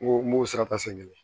N ko n b'o sira ta san kelen